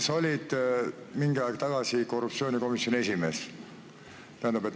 Sa olid mingi aeg tagasi ka korruptsioonikomisjoni esimees.